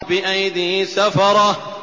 بِأَيْدِي سَفَرَةٍ